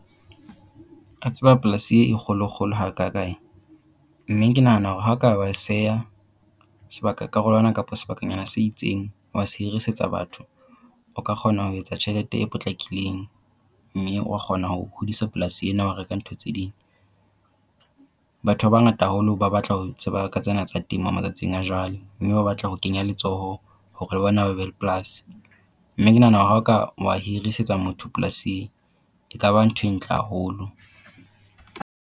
A tseba polasi e kgolo kgolo hakakae. Mme ke nahana hore ha o ka wa e seha sebaka karolwana kapa sebakanyana se itseng wa se hirisetsa batho, o ka kgona ho etsa tjhelete e potlakileng mme wa kgona ho hodisa polasi ena wa reka ntho tse ding. Batho ba bangata haholo ba batla ho tseba ka tsena tsa temo malatsing a jwale. Mme ba batla ho kenya letsoho hore le bona ba be le polasi mme ke nahana hore ha o ka wa hirisetsa motho polasi ekaba ntho e ntle haholo.